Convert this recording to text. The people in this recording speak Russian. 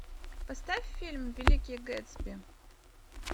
поставь фильм великий гэтсби